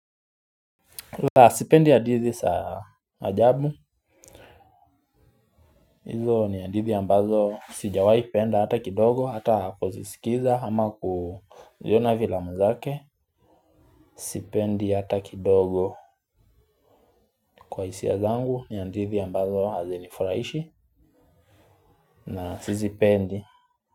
La sipendi hadithi za ajabu. Hizo ni hadithi ambazo sijawahi penda hata kidogo hata kuzisikiza ama kuziona filamu zake. Sipendi hata kidogo kwa hisia zangu ni hadithi ambazo hazinifurahishi na sizipendi.